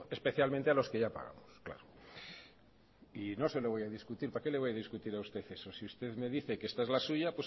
especialmente a los que ya pagamos y no se lo voy a discutir para qué le voy a discutir a usted eso si usted me dice que esta es la suya